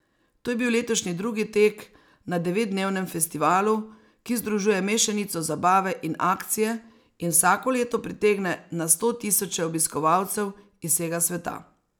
To je bil letošnji drugi tek na devetdnevnem festivalu, ki združuje mešanico zabave in akcije in vsako leto pritegne na stotisoče obiskovalcev iz vsega sveta.